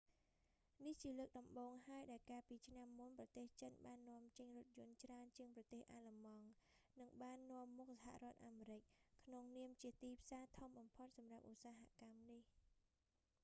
នេះជាលើកដំបូងហើយដែលកាលពីឆ្នាំមុនប្រទេសចិនបាននាំចេញរថយន្តច្រើនជាងប្រទេសអាល្លឺម៉ង់ និងបាននាំមុខសហរដ្ឋអាមេរិក ក្នុងនាមជាទីផ្សារធំបំផុតសម្រាប់ឧស្សាហកម្មនេះ